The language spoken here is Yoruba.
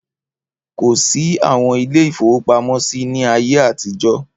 Kò sí àwọn ilé-ìfowópamọ́sí ní ayé àtijọ́.